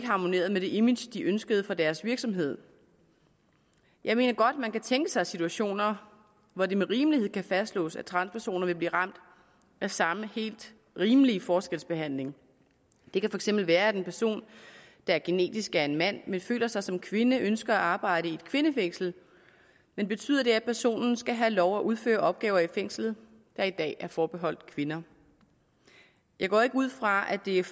harmonere med det image som de ønskede for deres virksomhed jeg mener godt at man kan tænke sig situationer hvor det med rimelighed kan fastslås at transpersoner vil blive ramt af samme helt rimelige forskelsbehandling det kan for eksempel være at en person der genetisk er en mand men føler sig som kvinde ønsker at arbejde i et kvindefængsel men betyder det at personen skal have lov til at udføre opgaver i fængslet der i dag er forbeholdt kvinder jeg går ikke ud fra at det er